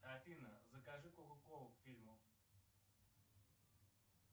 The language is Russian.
афина закажи кока колу к фильму